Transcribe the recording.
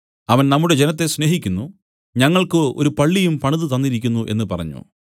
അവൻ നമ്മുടെ ജനത്തെ സ്നേഹിക്കുന്നു ഞങ്ങൾക്കു ഒരു പള്ളിയും പണിതു തന്നിരിക്കുന്നു എന്നു പറഞ്ഞു